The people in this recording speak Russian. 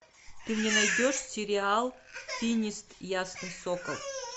ты мне найдешь сериал финист ясный сокол